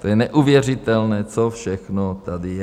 To je neuvěřitelné, co všechno tady je!